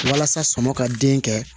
Walasa sɔŋɔ ka den kɛ